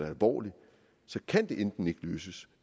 alvorligt så kan det enten ikke løses